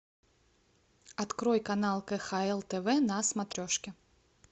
открой канал кхл тв на смотрешке